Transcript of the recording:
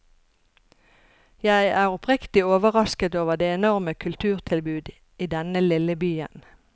Jeg er oppriktig overrasket over det enorme kulturtilbud i denne lille byen.